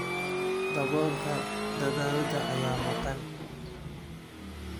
Daboolka dhalada ayaa maqan.